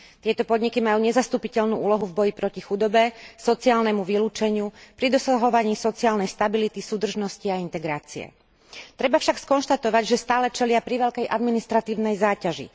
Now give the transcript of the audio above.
Tieto podniky majú nezastupiteľnú úlohu v boji proti chudobe, sociálnemu vylúčeniu, pri dosahovaní sociálnej stability, súdržnosti a integrácie. Treba však skonštatovať, že stále čelia priveľkej administratívnej záťaži.